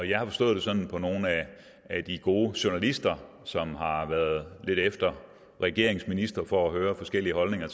jeg har forstået det sådan på nogle af de gode journalister som har har været lidt efter regeringens ministre for at høre forskellige holdninger